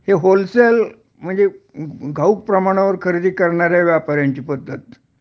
हे होलसेल म्हणजे घाऊक प्रमाणावर खरेदी करणाऱ्यांची पद्धत